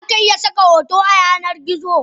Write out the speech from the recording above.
Zaka iya saka hoto a yanar gizo.